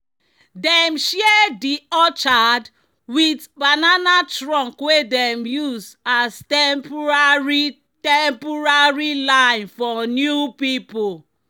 "dem share di orchard with banana trunk wey dem use as temporary temporary line for new people."